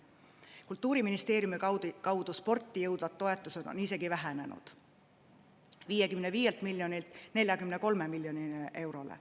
Kultuuriministeeriumi kaudu sporti jõudvad toetused on isegi vähenenud: 55 miljonilt 43 miljonile eurole.